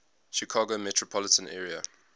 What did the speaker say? chicago metropolitan area